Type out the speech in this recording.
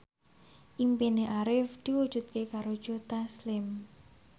impine Arif diwujudke karo Joe Taslim